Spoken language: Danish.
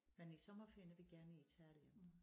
Men i sommerferien er vi gerne i Italien